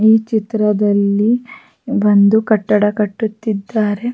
ಇಲ್ಲಿ ತುಂಬ ವ್ಯಕ್ತಿಯರಿದ್ದಾರೆ ಒಬ್ಬ ವ್ಯಕ್ತಿ ಕೆಂಪು ಬಣ್ಣದ ಟಿ ಶರ್ಟ ಅನ್ನು ಧರಿಸಿ ನಿಂತಿದ್ದಾನೆ--